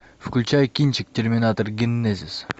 включай кинчик терминатор генезис